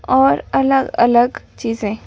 और अलग-अलग चीजें--